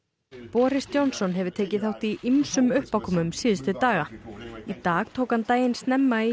boris Johnson hefur tekið þátt í ýmsum uppákomum síðustu daga í dag tók hann daginn snemma í